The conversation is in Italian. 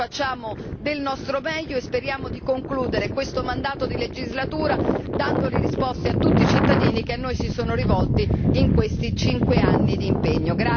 Noi facciamo del nostro meglio e speriamo di concludere questo mandato di legislatura dando le risposte a tutti i cittadini che a noi si sono rivolti in questi cinque anni di impegno.